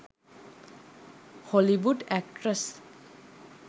hollywood actress